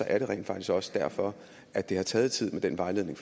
er rent faktisk også derfor at det har taget tid med den vejledning